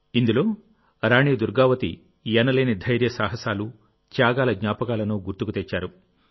ఇందులో రాణి దుర్గావతి ఎనలేని ధైర్యసాహసాలు త్యాగాల జ్ఞాపకాలను గుర్తుకు తెచ్చారు